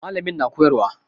Mallamin na koyarwa.